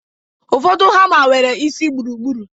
Ụfọdụ hama nwere isi gburugburu